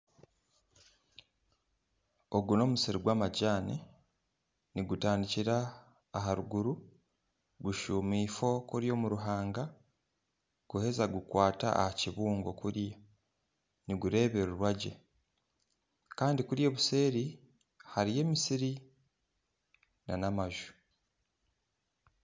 Ogu nomusiri gwamajaani nigutandikira aharuguru gushuuma ifo omuruhanga guheza gukwata ahakibuungo kuriya nigureebererwa gye Kandi kuriya obuseeri hariyo emisiri nana amaju